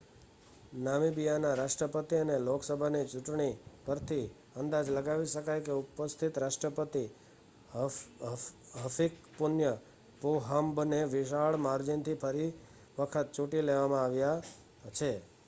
નામીબિયાના રાષ્ટ્રપતિ અને લોકસભાની ચુંટણી પરથી અંદાજ લગાવી શકાય કે ઉપસ્થિત રાષ્ટ્રપતિ હફિકપુન્ય પોહામ્બને વિશાળ માર્જીનથી ફરી વખત ચૂંટી લેવામાં આવ્યા છે